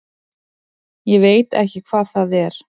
Ég veit ekki hvað það er.